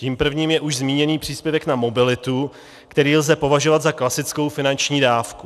Tím prvním je už zmíněný příspěvek na mobilitu, který lze považovat za klasickou finanční dávku.